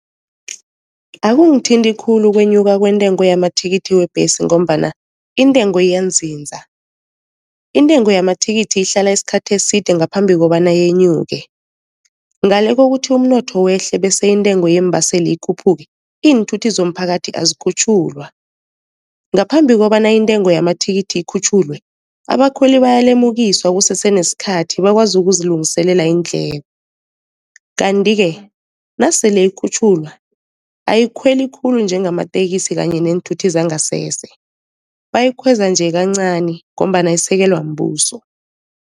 Akungithinti khulu ukwenyuka kwentengo yamathikithi webhesi, ngombana intengo iyanziza. Intengo yamathikithi ihlala isikhathi eside ngaphambi kobana yenyuke, ngale kokuthi umnotho wehle bese intengo yeembaseli ikhuphuke, iinthuthi zomphakathi azikhutjhulwa. Ngaphambi kobana intengo yamathikithi ikhutjhulwe, abakhweli bayalemukiswa kusese nesikhathi bakwazi ukuzilungiselela iindleko, kanti-ke nasele ikhutjhulwa ayikhweli khulu njengamateksi kanye neenthuthi zangasese bayikhweza nje kancani, ngombana isekelwa mbuso.